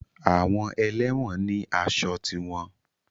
Àwọn ẹlẹ́wọ̀n ni aṣọ tiwọn